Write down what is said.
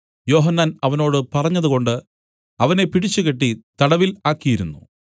യോഹന്നാൻ അവനോട് പറഞ്ഞതുകൊണ്ട് അവനെ പിടിച്ച് കെട്ടി തടവിൽ ആക്കിയിരുന്നു